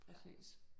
Præcis